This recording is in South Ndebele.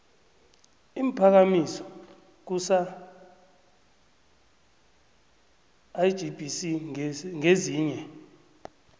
iimphakamiso kusalgbc ngezinye